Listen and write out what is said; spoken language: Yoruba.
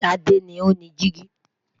Sade ni o ni digi